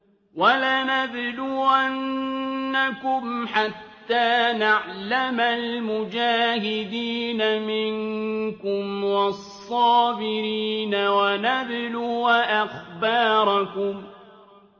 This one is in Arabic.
وَلَنَبْلُوَنَّكُمْ حَتَّىٰ نَعْلَمَ الْمُجَاهِدِينَ مِنكُمْ وَالصَّابِرِينَ وَنَبْلُوَ أَخْبَارَكُمْ